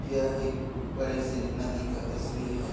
यह एक बड़े से नदी का तस्वीर हैं ।